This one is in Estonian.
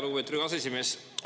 Lugupeetud aseesimees!